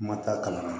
Kuma t'a kalan na